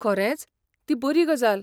खरेंच? ती बरी गजाल.